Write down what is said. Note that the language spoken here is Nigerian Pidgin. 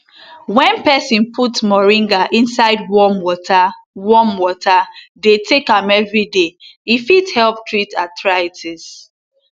wen peson put moringa inside warm water warm water dey take am everyday e fit help treat arthritis